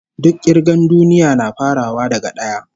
Duk kirgar duniya na farawa daga d'aya